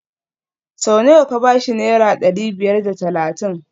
Sau nawa ka ba shi Naira dari biyar da talatin